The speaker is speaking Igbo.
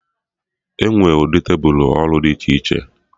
Enwee ụdị tebụl ọrụ dị iche iche